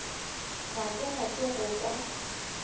ga ke rate go kwa